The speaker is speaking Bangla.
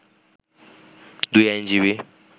দুই আইনজীবী